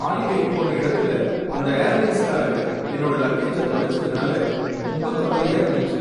ஹாலிடேக்கு போன இடத்துல அந்த ஏர்லைன்ஸ்காரங்க என்னோட லக்கேஜ தொலைச்சதுனால ரொம்ப கவலையா இருந்துச்சு.